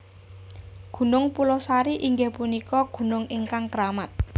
Gunung Pulosari inggih punika gunung ingkang keramat